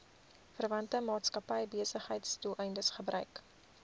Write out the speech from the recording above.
verwante maatskappybesigheidsdoeleindes gebruik